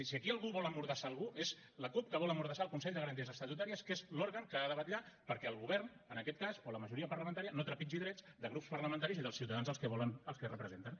si aquí algú vol emmordassar algú és la cup que vol emmordassar el consell de garanties estatutàries que és l’òrgan que ha de vetllar perquè el govern en aquest cas o la majoria parlamentària no trepitgi drets de grups parlamentaris i dels ciutadans als que representen